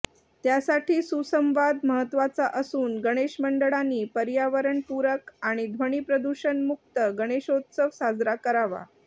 त्यासाठी सुसंवाद महत्त्वाचा असून गणेश मंडळंनी पर्यावरणपूरक आणि ध्वनीप्रदूषणमूक्त गणेशोत्सव साजरा करावा